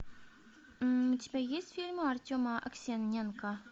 у тебя есть фильмы артема аксененко